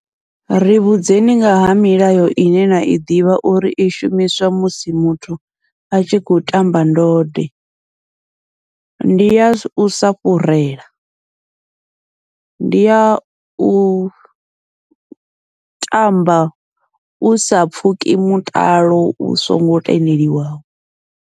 Ri vhudzeni ngaha milayo ine nai ḓivha uri i shumiswa musi muthu a tshi khou tamba ndode, ndi ya usa fhurela ndi yau tamba usa pfhuki mutalo u songo tendeliwaho.